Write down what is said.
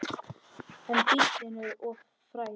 En bíllinn er of frægur.